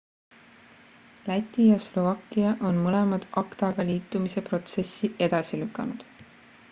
läti ja slovakkia on mõlemad acta-ga liitumise protsessi edasi lükanud